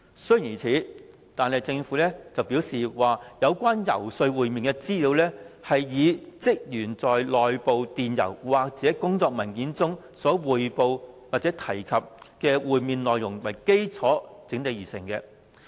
雖然如此，政府表示，有關遊說會面的資料，是以職員內部電郵或工作文件中所匯報或提及的會面內容為基礎整理而成。